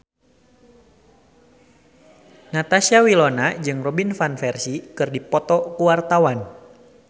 Natasha Wilona jeung Robin Van Persie keur dipoto ku wartawan